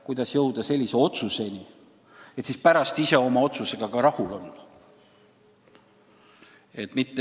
Kuidas jõuda sellise otsuseni, et pärast Riigikogu oma otsusega ka rahul on?